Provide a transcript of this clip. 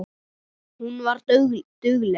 Hún var dugleg.